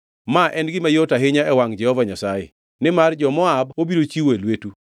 Ma en gima yot ahinya e wangʼ Jehova Nyasaye, nimar jo-Moab obiro chiwo e lwetu.